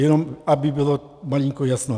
Jenom aby bylo malinko jasno.